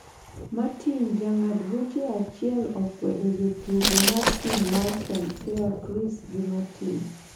Martin jang'ad buche achiel okwedo jotugo mar tim mar swansea Kris gi martin